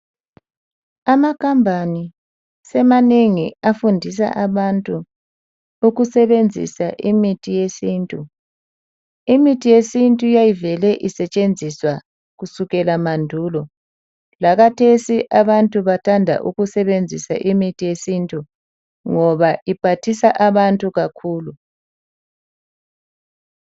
Ama company semanengi afundisa abantu ukusebenzisa imithi yesintu. Imithi yesintu yayivele isetshenziswa kusukela emandulo. Lakathesi abantu bathanda ukusebenzisa imithi yesintu ngoba iphathisa abantu kakhulu.